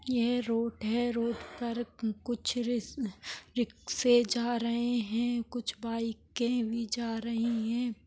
यह रोड है रोड पर कुछ री रिक्षे जा रहे है कुछ बाइके भी जा रहे है।